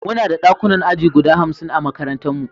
Muna da ɗakunan aji guda hamsin a makarantarmu.